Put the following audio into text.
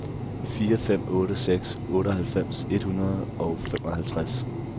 fire fem otte seks otteoghalvfems et hundrede og femoghalvtreds